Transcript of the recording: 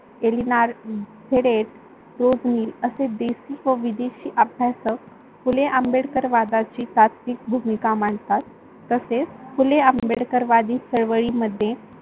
एलीणार फेडेड, असे देशी व विदेशी अभ्यासक फुले आंबेडकर वादाची सात्विक भूमिका मांडतात तसेच फुले आंबेडकर वादी चळवळी मध्ये